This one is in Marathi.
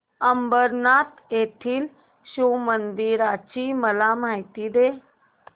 अंबरनाथ येथील शिवमंदिराची मला माहिती दे